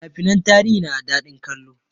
Fina finan tarihi na da daɗin kallo